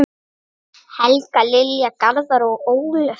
Helga, Lilja, Garðar og Ólöf.